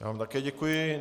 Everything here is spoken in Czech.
Já vám také děkuji.